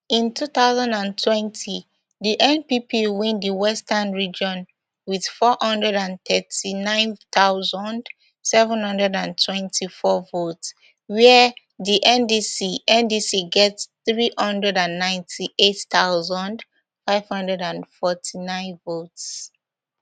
in two thousand and twenty di npp win di western region wit four hundred and thirty-nine thousand, seven hundred and twenty-four votes wia di ndc ndc get three hundred and ninety-eight thousand, five hundred and forty-nine votes